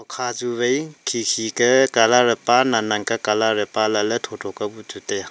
kha chu wai khikhi ka colour pa thotho ka colour pa lah le thotho kau pu chu taiya.